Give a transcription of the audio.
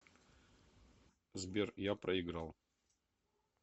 сбер я проиграл